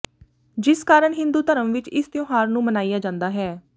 ਜਿਸ ਕਾਰਨ ਹਿੰਦੂ ਧਰਮ ਵਿਚ ਇਸ ਤਿਉਹਾਰ ਨੂੰ ਮਨਾਇਆ ਜਾਂਦਾ ਹੈ